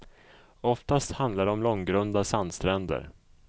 Oftast handlar det om långgrunda sandstränder.